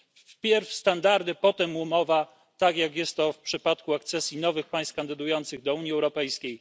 Wpierw standardy, potem umowa, tak jak jest to w przypadku akcesji nowych państw kandydujących do Unii Europejskiej.